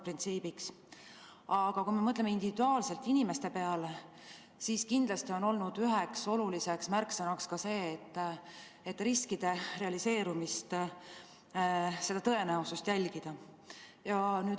Aga kui me mõtleme individuaalselt inimeste peale, siis kindlasti on olnud üheks oluliseks märksõnaks ka see, et riskide realiseerumist, nende tõenäosust jälgitaks.